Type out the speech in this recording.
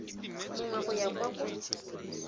mongwe go ya kwa go